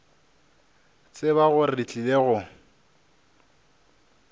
tseba gore re tlile go